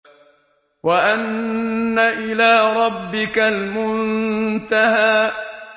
وَأَنَّ إِلَىٰ رَبِّكَ الْمُنتَهَىٰ